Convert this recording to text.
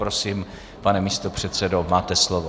Prosím, pane místopředsedo, máte slovo.